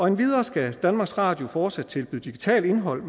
endvidere skal danmarks radio fortsat tilbyde digitalt indhold